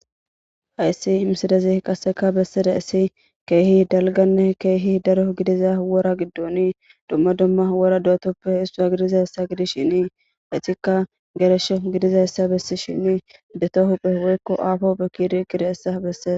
hayssi imsidezi qasseka bessida issi keehi dalganne keehi daro gidiza wora giddon dumma dumma wora dootoppe hissua gidizayessa gidis shini hetikka geresho gidiza yssa bessi shinii deto huphe woykko aafo bekkidi gida essa besseza